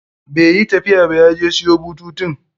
Bai yi tafiya ba, ya je siyo bututun.